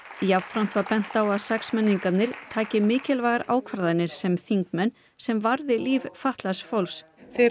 jafnframt var bent á að taki mikilvægar ákvarðanir sem þingmenn sem varði líf fatlaðs fólks þeir